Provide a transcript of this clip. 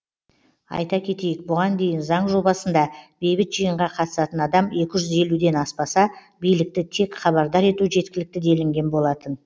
айта кетейік бұған дейін заң жобасында бейбіт жиынға қатысатын адам екі жүз елуден аспаса билікті тек хабардар ету жеткілікті делінген болатын